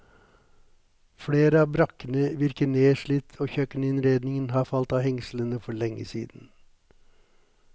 Flere av brakkene virker nedslitt og kjøkkeninnredningen har falt av hengslene for lenge siden.